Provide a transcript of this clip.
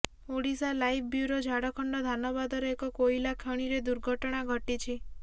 Odisha live bureau Jharkhand ଧାନବାଦର ଏକ କୋଇଲା ଖଣିରେ ଦୁର୍ଘଟଣା ଘଟିଛି